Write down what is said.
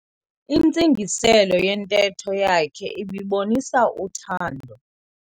Intsingiselo yentetho yakhe ibibonisa uthando.